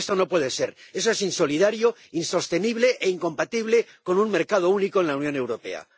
Y esto no puede ser eso es insolidario, insostenible e incompatible con un mercado único en la Unión Europea.